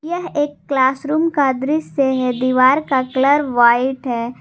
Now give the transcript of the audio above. यह एक class room का दृश्य है दीवार का कलर व्हाइट है।